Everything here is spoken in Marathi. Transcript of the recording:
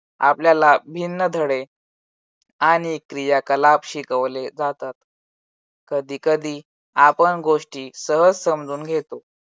आपल्याला भिन्न धडे आणि क्रियाकलाप शिकवले जातात. कधी कधी आपण गोष्टी सहज समजून घेतो.